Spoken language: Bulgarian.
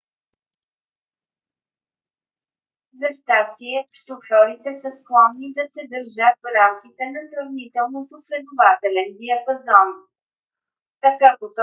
за щастие шофьорите са склонни да се държат в рамките на сравнително последователен диапазон; така потоците трафик имат известна логична последователност и могат да бъдат представени приблизително математически